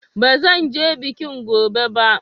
Ba zan je bikin gobe ba.